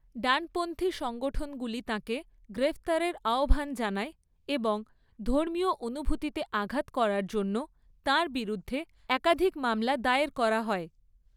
ডানপন্থী সংগঠনগুলি তাঁকে গ্রেফতারের আহ্বান জানায় এবং ধর্মীয় অনুভূতিতে আঘাত করার জন্য তাঁর বিরুদ্ধে একাধিক মামলা দায়ের করা হয়।